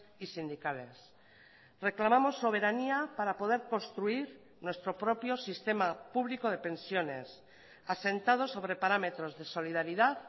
y sindicales reclamamos soberanía para poder construir nuestro propio sistema público de pensiones asentado sobre parámetros de solidaridad